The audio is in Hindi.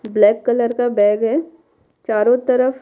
ब्लैक कलर का बैग है चारों तरफ --